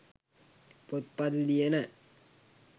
පොත්පත් ලියන,